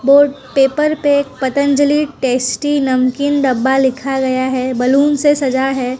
Board paper पे Patanjali tasty नमकीन डब्बा लिखा गया है बलून से सजा है।